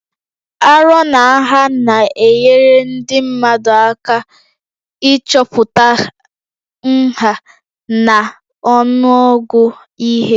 Arọ na nha na-enyere ndị mmadụ aka 5o ịchọpụta nha na ọnụọgụ ihe